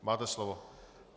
Máte slovo.